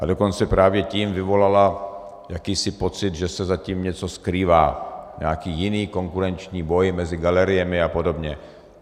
A dokonce právě tím vyvolala jakýsi pocit, že se za tím něco skrývá, nějaký jiný konkurenční boj mezi galeriemi a podobně.